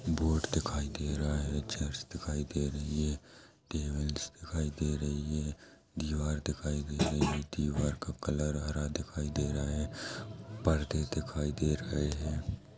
Board दिखाई दे रहा है चेयर्स दिखाई दे रही है टेबल दिखाई दे रही है दीवार दिखाई दे रही है दीवार का कलर हरा दिखाई दे रहा हैं परदे दिखाई दे रहे हैं।